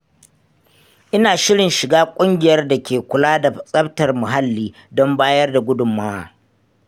Ina shirin shiga ƙungiyar da ke kula da tsaftar muhalli don bayar da gudunmawa.